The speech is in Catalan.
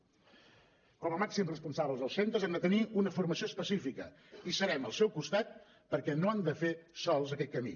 com a màxims responsables dels centres han de tenir una formació específica i serem al seu costat perquè no han de fer sols aquest camí